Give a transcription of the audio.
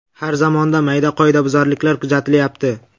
Har zamonda mayda qoidabuzarliklar kuzatilyapti.